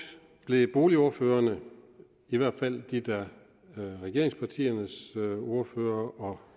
blev boligordførerne i hvert fald regeringspartiernes ordførere